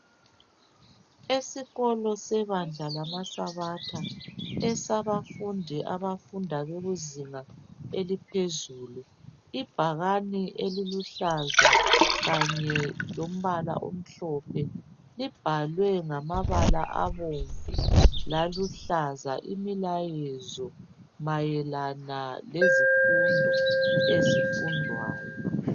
Esikolo sebandla lamasabatha esabafundi abafunda bejuzinga eliphezulu ibhakani eliluhlaza Kanye lombala omhlophe libhalwe ngamabala abomvu laluhlaza imilayezo mayelana lezifundo ezifundwayo